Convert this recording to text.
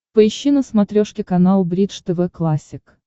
поищи на смотрешке канал бридж тв классик